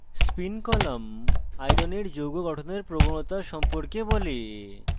spin column iron iron এর যৌগ গঠনের প্রবণতা সম্পর্কে বলে